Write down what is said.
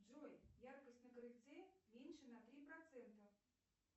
джой яркость на крыльце меньше на три процента